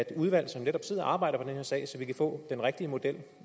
et udvalg som netop sidder og arbejder på den her sag så vi kan få den rigtige model